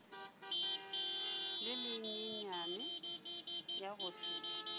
le lenyenyane ya go se